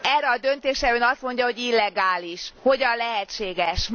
Erre a döntésre Ön azt mondja, hogy illegális. Hogyan lehetséges?